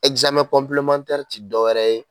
ti dɔwɛrɛ ye